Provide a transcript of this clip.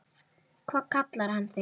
Hvað hann kallar þig?